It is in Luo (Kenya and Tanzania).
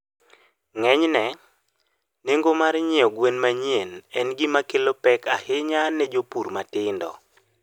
Ng'enyne, nengo mar nyiewo gwen manyien en gima kelo pek ahinya ne jopith matindo.